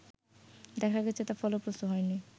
দেখা গেছে তা ফলপ্রসূ হয়নি